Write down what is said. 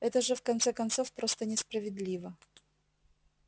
это же в конце концов просто несправедливо